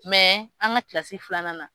an ka kilasi filanan na.